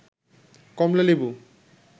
কমলা লেবু